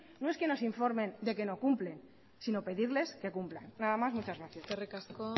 no es que nos informen de que no cumple sino pedirles que cumplan nada más muchas gracias eskerrik asko